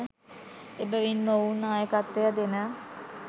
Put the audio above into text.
එබැවින් මොවුන් නායකත්වය දෙන